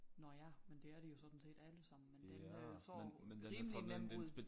Nåh ja men det er de jo sådan set alle sammen men den der så rimelig nem ud